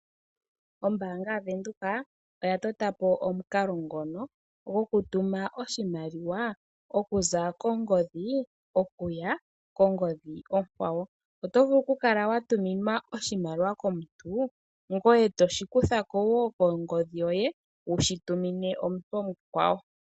Ombaanga yaVenduka oya tota po omukalo ngono goku tuma oshimaliwa okuza kongodhi okuya kongodhi onkwawo. Oto vulu oku kala wa tuminwa oshimaliwa komuntu, ngoye toshi kutha ko woo kongodhi yoye wushi tumine omuntu omukwawo.